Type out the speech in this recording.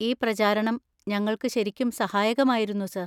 ഈ പ്രചാരണം ഞങ്ങൾക്ക് ശരിക്കും സഹായകമായിരുന്നു സർ.